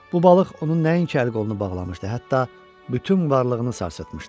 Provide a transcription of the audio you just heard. Bu balıq onun nəinki əl-qolunu bağlamışdı, hətta bütün varlığını sarsıtmışdı.